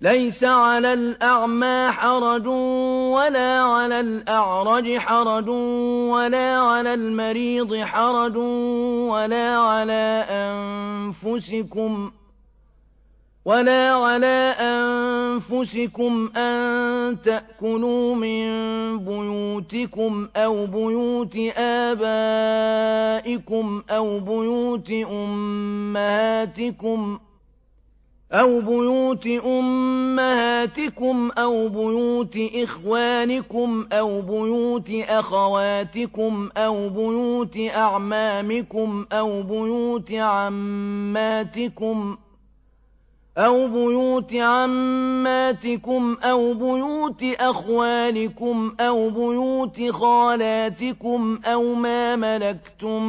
لَّيْسَ عَلَى الْأَعْمَىٰ حَرَجٌ وَلَا عَلَى الْأَعْرَجِ حَرَجٌ وَلَا عَلَى الْمَرِيضِ حَرَجٌ وَلَا عَلَىٰ أَنفُسِكُمْ أَن تَأْكُلُوا مِن بُيُوتِكُمْ أَوْ بُيُوتِ آبَائِكُمْ أَوْ بُيُوتِ أُمَّهَاتِكُمْ أَوْ بُيُوتِ إِخْوَانِكُمْ أَوْ بُيُوتِ أَخَوَاتِكُمْ أَوْ بُيُوتِ أَعْمَامِكُمْ أَوْ بُيُوتِ عَمَّاتِكُمْ أَوْ بُيُوتِ أَخْوَالِكُمْ أَوْ بُيُوتِ خَالَاتِكُمْ أَوْ مَا مَلَكْتُم